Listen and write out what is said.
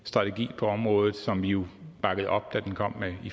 strategi på området som vi jo bakkede op da den kom